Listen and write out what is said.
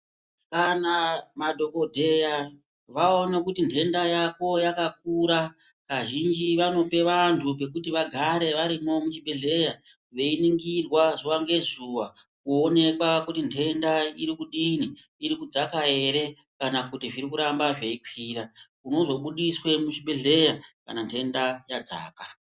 Kana madhokodheya vaona kuti nhenda yako yakakura kazhinji vanopa vantu pekuti vagare varimwo muchibhendleya veiningirwa zuwa ngezuwa kuonekwa kuti nhenda iri kudini, iri kudzaka ere? Kana kuti zviri kuramba zveikwira. Unozobudiswa muchibhendleya kana nhenda yadzaka.